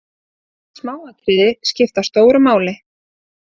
Smáatriði skipta stóru máli.